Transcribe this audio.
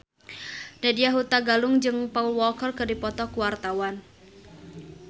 Nadya Hutagalung jeung Paul Walker keur dipoto ku wartawan